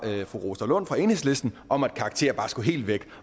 fru rosa lund fra enhedslisten om at karakterer bare skulle helt væk